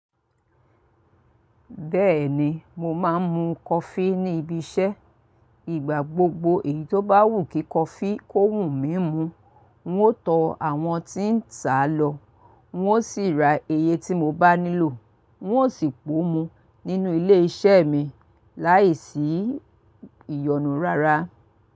Bẹ́ẹ̀ni, mo máa ń mu coffee ní ibi iṣẹ́. Ìgbà gbogbo èyí tó bá wù kí coffee kó wù mí mu, n ó tọ àwọn tí ń tà á lọ, n ó sì ra iye tí mo bá nílò, n ó sì po mú nínú ilé iṣẹ́ mi láìsí ìyọnu rárá.